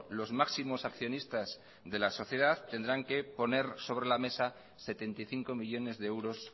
los máximos accionistas de la sociedad tendrán que poner sobre la mesa setenta y cinco millónes de euros